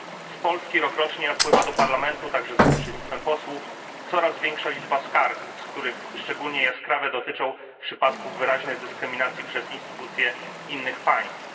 Z Polski rokrocznie napływa do Parlamentu także za pośrednictwem posłów coraz większa liczba skarg, z których szczególnie jaskrawe dotyczą przypadków wyraźnej dyskryminacji przez instytucje innych państw.